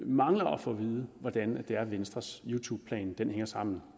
mangler at få at vide hvordan venstres youtubeplan hænger sammen